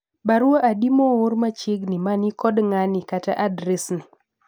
barua adi moor machiegni mani kod ng'ani kata adred ni